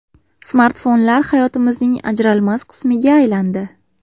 Smartfonlar hayotimizning ajralmas qismiga aylandi.